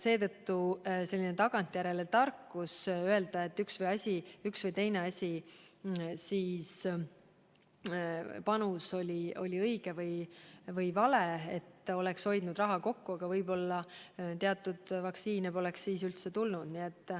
Seetõttu on selline tagantjärele tarkus öelda, et üks või teine panus oli õige või vale või et oleks saanud raha kokku hoida – aga võib-olla teatud vaktsiine poleks siis üldse tulnud.